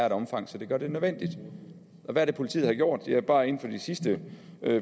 et omfang som gør det nødvendigt hvad er det politiet har gjort ja bare inden for de sidste